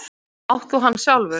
Og átt þú hann sjálfur?